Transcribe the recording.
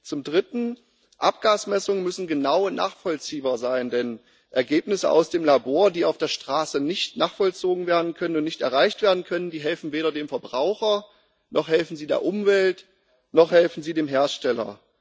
Zum dritten Abgasmessungen müssen genauer nachvollziehbar sein, denn Ergebnisse aus dem Labor, die auf der Straße nicht nachvollzogen werden können und nicht erreicht werden können, die helfen weder dem Verbraucher, noch helfen sie der Umwelt, noch helfen sie dem Hersteller.